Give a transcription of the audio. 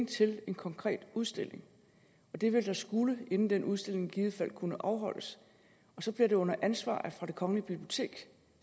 til en konkret udstilling og det ville der skulle inden den udstilling i givet fald kunne afholdes og så bliver det under ansvar fra det kongelige bibliotek